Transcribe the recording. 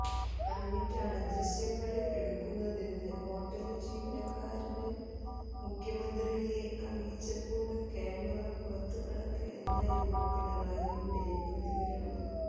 പറഞ്ഞിട്ടാണ് ദൃശ്യങ്ങള് എടുക്കുന്നതെന്ന് ഹോട്ടല് ജീവനക്കാരന് മുഖ്യമന്ത്രിയെ അറിയിച്ചപ്പോള് ക്യാമറ പുറത്ത് കടക്ക് എന്നായിരുന്നു പിണറായിയുടെ പ്രതികരണം